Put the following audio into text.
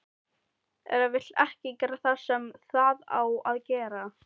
Eða vill ekki gera það sem það á að gera.